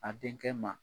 A denkɛ ma